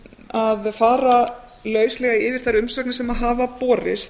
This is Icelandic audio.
að fara lauslega yfir þær umsagnir sem hafa borist